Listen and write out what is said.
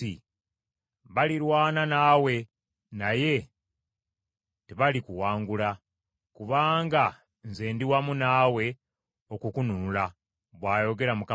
Balirwana naawe naye tebalikuwangula; kubanga nze ndi wamu naawe okukununula,” bw’ayogera Mukama Katonda.